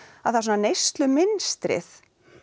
að svona neyslumynstrið